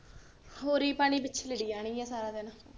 ਹੋਰੀ ਪਾਣੀ ਪਿੱਛੇ ਲੜੀ ਜਾਣਗੀਆਂ ਸਾਰਾ ਦਿਨ